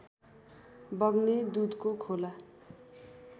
बग्ने दुधको खोला